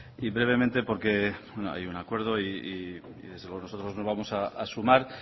y brevemente porque hay un acuerdo y nosotros no vamos a sumar